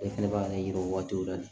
E fɛnɛ b'a ne yira o waati la de